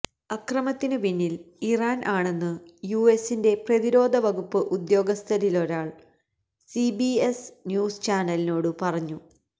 അക്രമത്തിനു പിന്നിൽ ഇറാൻ ആണെന്നു യുഎസിന്റെ പ്രതിരോധ വകുപ്പ് ഉദ്യോഗസ്ഥരിലൊരാൾ സിബിഎസ് ന്യൂസ് ചാനലിനോടു പറഞ്ഞു